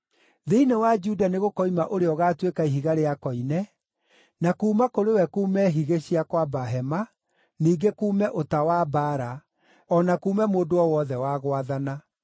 Thĩinĩ wa Juda nĩgũkoima ũrĩa ũgaatuĩka ihiga rĩa koine, na kuuma kũrĩ we kuume higĩ cia kwamba hema, ningĩ kuume ũta wa mbaara, o na kuume mũndũ o wothe wa gwathana.